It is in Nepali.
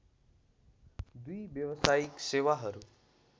दुई व्यावसायिक सेवाहरू